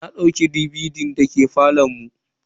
Na dauke DVD din da ke falon mu.